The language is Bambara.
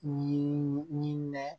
Ɲinini nɛn